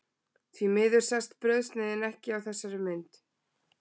Því miður sést brauðsneiðin ekki á þessari mynd.